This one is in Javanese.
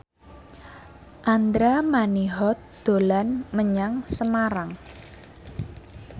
Andra Manihot dolan menyang Semarang